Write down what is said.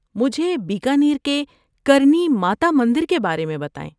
مجھے بیکانیر کے کرنی ماتا مندر کے بارے میں بتائیں۔